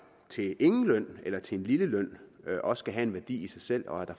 til ingen løn eller til en lille løn også kan have en værdi i sig selv og at der